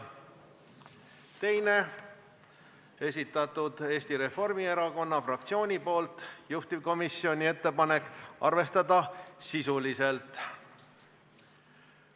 Teise on esitanud Eesti Reformierakonna fraktsioon, juhtivkomisjoni ettepanek on arvestada seda sisuliselt.